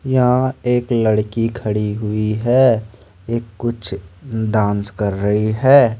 यहा एक लड़की खड़ी हुई है ये कुछ डांस कर रही है।